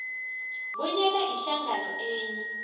bonyana ihlangano enye